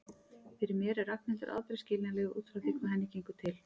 Fyrir mér er Ragnhildur aldrei skiljanleg út frá því hvað henni gengur til.